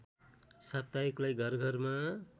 साप्ताहिकलाई घर घरमा